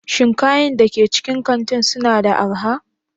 Shin kayan da ke cikin kanti suna da arha?